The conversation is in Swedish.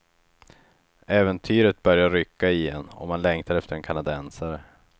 Äventyret börjar rycka i en och man längtar efter en kanadensare.